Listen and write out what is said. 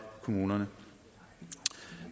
kommunerne